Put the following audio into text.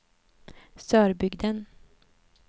Sörbygden